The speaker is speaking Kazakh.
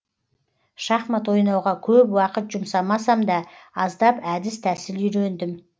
шахмат ойнауға көп уақыт жұмсамасам да аздап әдіс тәсіл үйрендім